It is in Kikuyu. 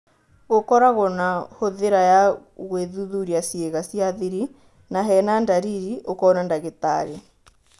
Gũkoragwo na hũthĩra ya gũĩthuthuria ciĩga cia-thiri na hena-ndariri ũkoona ndagitari.